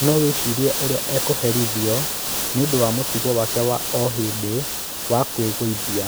No wĩcirie ũrĩa ekũherithio nĩundũ wa mũtugo wake wa o hĩndĩ wa kwigũithia.